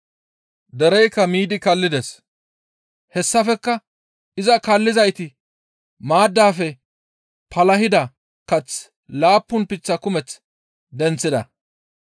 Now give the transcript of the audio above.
Dereykka miidi kallides. Hessafekka iza kaallizayti maaddaafe palahida kath laappun leemate kumeth denththida.